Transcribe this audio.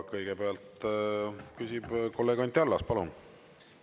Kõigepealt küsib kolleeg Anti Allas, palun!